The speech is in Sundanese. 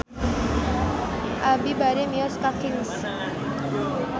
Abi bade mios ka Kings